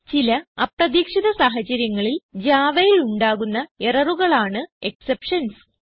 ചില അപ്രതീക്ഷിത സാഹച്ചര്യങ്ങളിൽ javaയിൽ ഉണ്ടാകുന്ന എററുകളാണ് എക്സെപ്ഷൻസ്